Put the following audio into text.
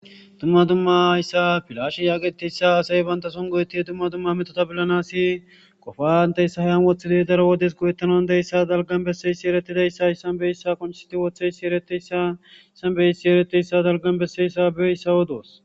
Dumma dumma haysa pileshe getetizaysa asay banta son go'etizaysa dumma dumma mettota polanas qofa hinteysa heni wothidi dalgan besizaysa qonc'isidi wothodaysa eretidaysa betiyasa dalgan wothidaysabeyiyasa odosi